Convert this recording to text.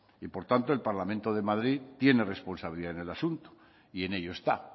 y por tanto el parlamento de madrid tiene responsabilidad en el asunto y en ello está